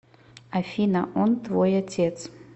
афина он твой отец